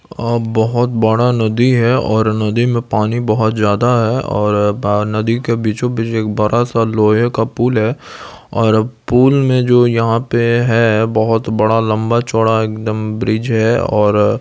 --और बहुत बड़ा नदी है और नदी में पानी बहुत ज्यादा है और नदी के बीचों बीच एक बड़ा सा लोहे का पूल है और पूल में जो यहां पे है बहुत बड़ा लंबा चौड़ा एकदम ब्रिज है।